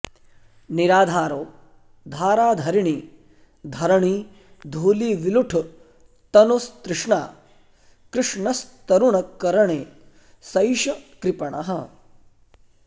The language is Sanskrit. निराधारो धाराधरिणि धरणी धूलिविलुठ त्तनुस्तृष्णा कृष्णस्तरुणकरणे सैष कृपणः